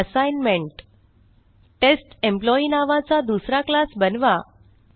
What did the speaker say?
assignment test employee नावाचा दुसरा class बनवा